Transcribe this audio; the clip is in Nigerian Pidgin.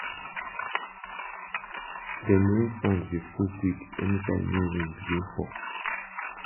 dem rain tank dey full quick anytime may rain begin fall